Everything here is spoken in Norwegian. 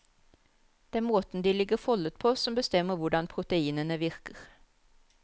Det er måten de ligger foldet på som bestemmer hvordan proteinene virker.